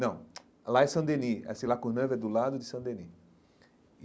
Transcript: Não, lá é Saint-Denis, essa La Courneuve é do lado de Saint-Denis.